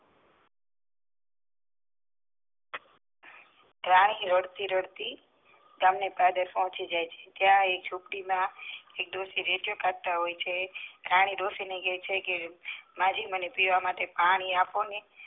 રાણી રડતી રડતી ગામ ના પાદરે પોચી જાય છે ત્યાં એક ડોસી રેડિયો ચાલતા હોય છે રાણી ડોસી ને કેય છે માજી મને પીવા માટે પાણી આપો ને